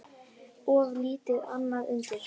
Of lítið annað undir.